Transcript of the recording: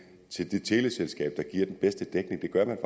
teleselskab der giver den bedste dækning det gør man